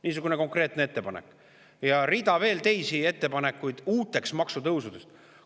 Niisugune konkreetne ettepanek ja veel rida teisi uute maksutõusude ettepanekuid.